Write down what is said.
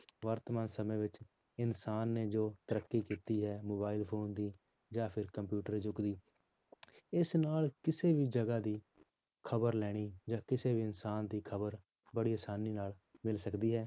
ਵਰਤਮਾਨ ਸਮੇਂ ਵਿੱਚ ਇਨਸਾਨ ਨੇ ਜੋ ਤਰੱਕੀ ਕੀਤੀ ਹੈ mobile phone ਦੀ ਜਾਂ ਫਿਰ computer ਯੁੱਗ ਦੀ, ਇਸ ਨਾਲ ਕਿਸੇ ਵੀ ਜਗ੍ਹਾ ਦੀ ਖ਼ਬਰ ਲੈਣੀ ਕਿਸੇ ਵੀ ਇਨਸਾਨ ਦੀ ਖ਼ਬਰ ਬੜੀ ਆਸਾਨੀ ਨਾਲ ਮਿਲ ਸਕਦੀ ਹੈ।